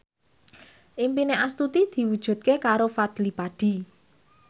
impine Astuti diwujudke karo Fadly Padi